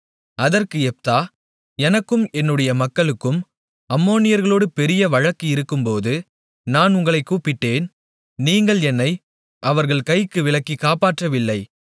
அதற்கு யெப்தா எனக்கும் என்னுடைய மக்களுக்கும் அம்மோனியர்களோடு பெரிய வழக்கு இருக்கும்போது நான் உங்களைக் கூப்பிட்டேன் நீங்கள் என்னை அவர்கள் கைக்கு விலக்கி காப்பாற்றவில்லை